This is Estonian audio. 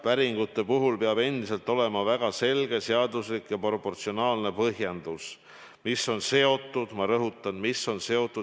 Päringute puhul peab endiselt olema väga selge, seaduslik ja proportsionaalne põhjendus, mis on seotud – ma rõhutan!